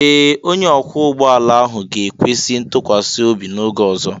Ee! Onye ọkwọ ụgbọ ala ahụ ga-ekwesị ntụkwasị obi n'oge ọzọ.